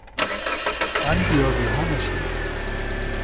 Annbjørg Johannessen